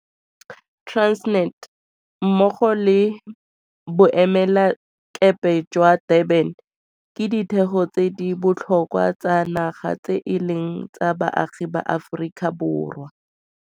Transnet, mmogo le Boemelakepe jwa Durban ke ditheo tse di botlhokwa tsa naga tse e leng tsa baagi ba Aforika Borwa.